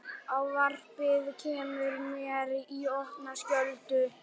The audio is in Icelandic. Ávarpið kemur mér í opna skjöldu.